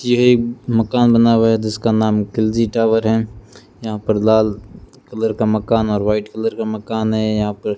ये मकान बना हुआ है जिसका नाम खिलजी टावर है यहां पर लाल कलर का मकान और व्हाइट कलर का मकान है यहां पर --